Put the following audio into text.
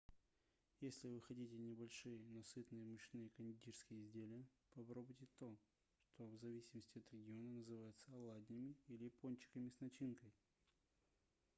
если вы хотите небольшие но сытные мучные кондитерские изделия попробуйте то что в зависимости от региона называется оладьями или пончиками с начинкой